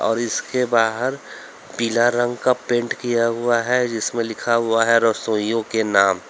और इसके बाहर पीला रंग का पेंट किया हुआ है जिसमें लिखा हुआ है रसोइयों के नाम।